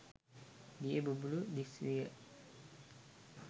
දිය බුබුළු දිස්විය.